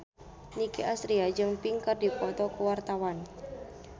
Nicky Astria jeung Pink keur dipoto ku wartawan